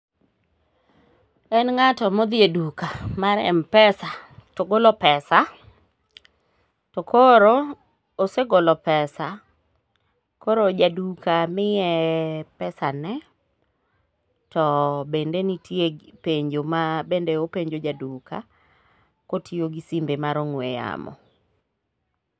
En ng'ato modhi e duka mar mpesa togolo pesa to koro osegolo pesa koro jaduka miye pesane, to bende nitie penjo mabende openjo jaduka kotiyo gi simbe mar ong'we yamo.